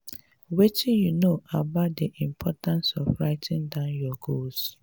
wetin you know about di importance of writing down your goals?